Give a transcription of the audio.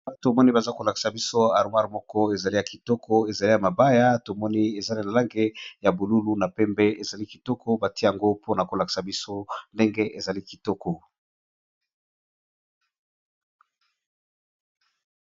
baba tomoni baza kolakisa biso arwir moko ezali ya kitoko ezali ya mabaya tomoni ezali lalange ya bolulu na pembe ezali kitoko bati yango mpona kolakisa biso ndenge ezali kitoko